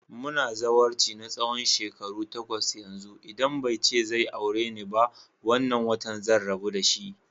Muna zawarci na tsawon shekaru takwas yanzu, idan bai ce zai aure ni ba wannan watan zan rabu dashi.